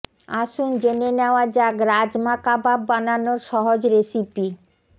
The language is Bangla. আসুন জেনে নেওয়া যাক রাজমা কাবাব বানানোর সহজ রেসিপি